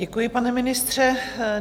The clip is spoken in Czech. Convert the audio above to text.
Děkuji, pane ministře.